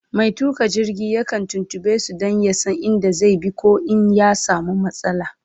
Mai tuƙa jirgi yakan tuntuɓe su Dan ya San in da zai bi koh in ya samu matsala